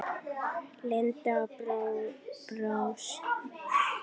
Linda brosti.